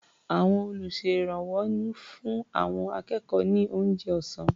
Àwọn olùṣèrànwọ́ ń fún àwọn akẹ́kọ̀ọ́ ní oúnjẹ ọ̀sá́n.